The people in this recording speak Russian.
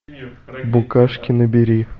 букашки набери